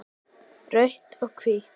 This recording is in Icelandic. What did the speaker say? Rautt og hvítt